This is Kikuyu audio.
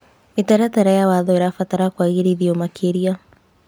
Mĩtaratara ya watho ĩrabatara kũagĩrithio makĩria.